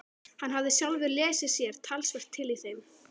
Hann hafði sjálfur lesið sér talsvert til í þeim.